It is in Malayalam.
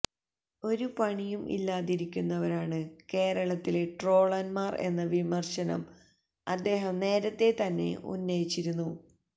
ഒരു പണിയും ഇല്ലാതിരിക്കുന്നവരാണ് കേരളത്തിലെ ട്രോളന്മാർ എന്ന വിമർശനം അദ്ദേഹം നേരത്തെ തന്നെ ഉന്നയിച്ചിരുന്നു